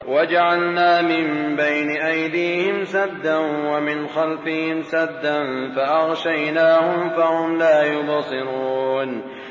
وَجَعَلْنَا مِن بَيْنِ أَيْدِيهِمْ سَدًّا وَمِنْ خَلْفِهِمْ سَدًّا فَأَغْشَيْنَاهُمْ فَهُمْ لَا يُبْصِرُونَ